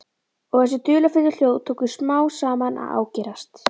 Og þessi dularfullu hljóð tóku smám saman að ágerast.